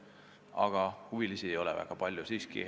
Aga huvilisi ei ole väga palju.